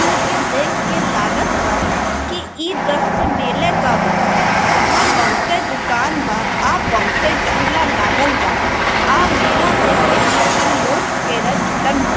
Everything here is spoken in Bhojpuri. इमे के देख के लागत बा इ द्रष्य मेला का बा जहां बहुते दुकान बा आ बहुते झूला लागल बा आ मेला देखे खातिर लोग के रा जुटन बा।